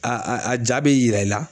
A a jaa be yira i la